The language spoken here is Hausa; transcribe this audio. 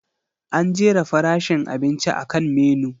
An jera farashin abinci akan Menu.